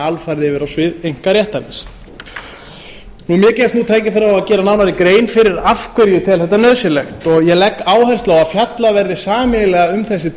alfarið yfir á svið einkaréttarins mér gefst nú tækifæri á að gera nánari grein fyrir af hverju ég tel þetta nauðsynlegt ég legg áherslu á að fjallað verði sameiginlega um þessi